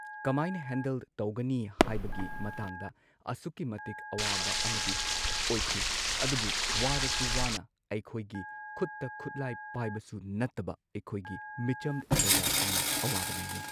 ꯀꯃꯥꯏꯅ ꯍꯦꯟꯗꯜ ꯇꯧꯒꯅꯤ ꯍꯥꯏꯕꯒꯤ ꯃꯇꯥꯡꯗ ꯑꯁꯨꯛꯀꯤ ꯃꯇꯤꯛ ꯑꯋꯥꯕ ꯑꯃꯗꯤ ꯑꯣꯏꯈꯤ ꯑꯗꯨꯕꯨ ꯋꯥꯔꯁꯨ ꯋꯥꯅ ꯑꯩꯈꯣꯏꯒꯤ ꯈꯨꯠꯇ ꯈꯨꯠꯂꯥꯏ ꯄꯥꯏꯕꯁꯨ ꯅꯠꯇꯕ ꯑꯩꯈꯣꯏꯒꯤ ꯃꯤꯆꯝ ꯄ꯭ꯔꯖꯥꯁꯤꯡꯅ ꯑꯋꯥꯕ ꯅꯪꯉꯤ꯫